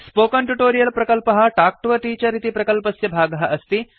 spoken tutorial प्रकल्पः talk to a teacher इति प्रकल्पस्य भागः अस्ति